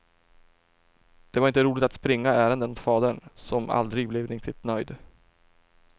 Det var inte roligt att springa ärenden åt fadern, som aldrig blev riktigt nöjd.